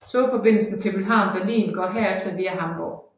Togforbindelsen København Berlin går herefter via Hamburg